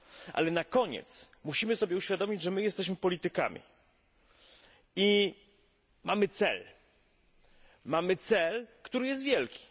Ale na koniec musimy sobie uświadomić, że jesteśmy politykami i mamy cel, który jest wielki.